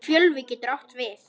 Fjölvi getur átt við